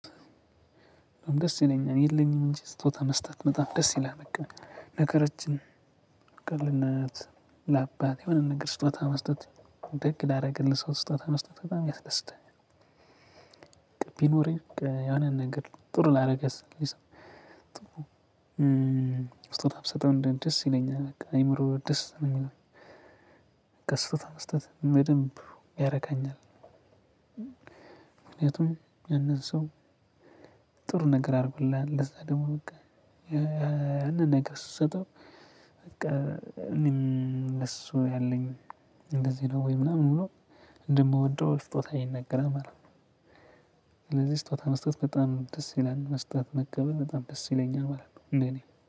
በጣም ደስ ይለኛል የለኝም እንጂ ስጦታ መስጠት በጣም ደስ ይላል በቃ። ነገሮችን ቀልድናየት ለአባቴ የሆነ ነገር ስጦታ መስጠት ደግ ላደረገልህ ሰው ስጦታ መስጠት በጣም ያስደስተኛል። ቢኖረኝ የሆነ ነገር ጥሩ ላደረገልኝ ሰው ጥሩ ብሰጠው ደስ ይለኛል በቃ አይምሮ ደስ ነው የሚለው። በቃ ስጦታ መስጠት በደንብ ያረካኛል። ምክንያቱም ያንን ሰው ጥሩ ነገር አድርጎልሃል ለዛ ደግሞ በቃ ያንን ነገር ስትሰጠው በቃ እኔም ለሱ ያለኝ እንደዚህ ነው ወይ ምናምን ብሎ እንደምወደው ስጦታ ይናገራል ማለት ነው። ስለዚህ ስጦታ መስጠት በጣም ደስ ይላል መስጠት መቀበል በጣም ደስ ይለኛል ማለት ነው ለኔ።